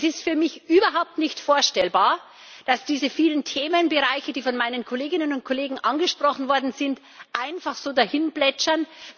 Es ist für mich überhaupt nicht vorstellbar, dass diese vielen Themenbereiche, die von meinen Kolleginnen und Kollegen angesprochen worden sind, einfach so dahinplätschern.